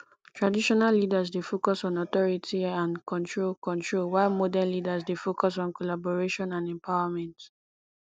traditional leaders dey focus on authority and control control while modern leaders dey focus on collaboration and empowerment